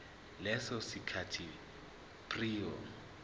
leso sikhathi prior